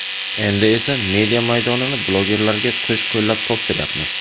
Endi esa media maydonini blogerlarga qo‘sh-qo‘llab topshiryapmiz.